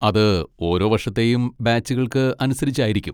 അത് ഓരോ വർഷത്തെയും ബാച്ചുകൾക്ക് അനുസരിച്ചായിരിക്കും.